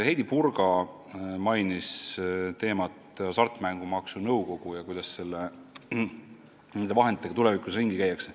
Heidy Purga mainis Hasartmängumaksu Nõukogu ja küsis, kuidas nende vahenditega tulevikus ringi käiakse.